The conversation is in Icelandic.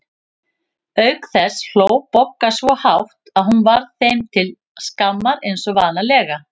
Auk þess hló Bogga svo hátt að hún varð þeim til skammar eins og vanalega.